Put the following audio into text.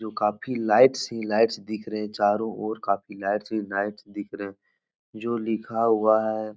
जो काफी लाइट्स ही लाइट्स दिख रहे है। चारो और काफी लाइट्स ही लाइट्स दिख रहे है। जो लिखा हुआ है --